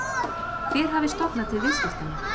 Hver hafi stofnað til viðskiptanna?